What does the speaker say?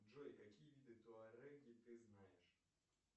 джой какие виды туареги ты знаешь